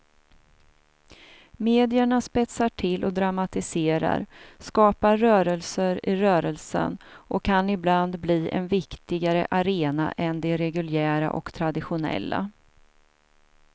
Medierna spetsar till och dramatiserar, skapar rörelser i rörelsen och kan ibland bli en viktigare arena än de reguljära och traditionella.